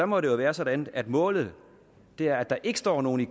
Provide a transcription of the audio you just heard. må det jo være sådan at målet er at der ikke står nogen i